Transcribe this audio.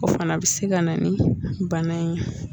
O fana bɛ se ka na ni bana in ye